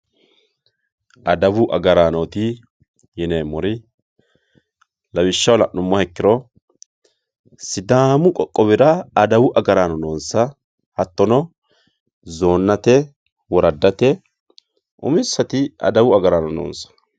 adawu agaraanoti Yineemori lawishaho lanumoha ikkiro sidamu qoqowira adawu agaranno noonsa hatono zoonate woradate uminisati adawu agarano noonsa